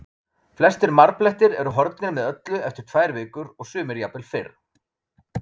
Flestir marblettir eru horfnir með öllu eftir tvær vikur og sumir jafnvel fyrr.